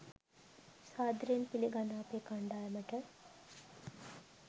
සාදරයෙන් පිලිගන්නවා අපේ කණ්ඩායමට